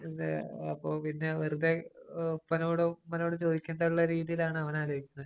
അപ്പൊ പിന്നെ വെറുതെ ഉപ്പനോടും, ഉമ്മനോടും ചോദിക്കണ്ട എന്ന രീതിയിലാണ് അവനാലോചിക്കുന്നത്.